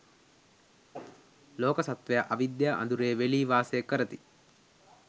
ලෝක සත්ත්වයා අවිද්‍යා අඳුරේ වෙලී වාසය කරති.